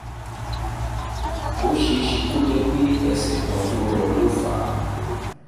ó ṣe é é ṣe kó jẹ́ pé ẹsẹ̀ kan tó rọ́ ló fà á